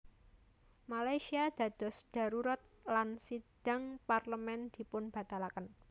Malaysia dados dharurat lan sidhang Parlemén dipunbatalaken